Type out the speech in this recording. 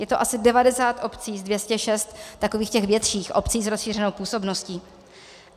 Je to asi 90 obcí z 206 takových těch větších obcí s rozšířenou působností.